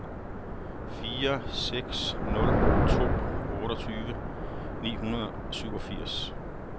fire seks nul to otteogtyve ni hundrede og syvogfirs